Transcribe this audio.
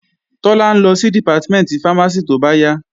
Tọ́lá ń lọ sí Dìpátímẹ̀ntì fámásì tóbáyà